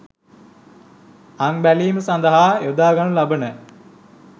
අං බැලීම සඳහා යොදාගනු ලබන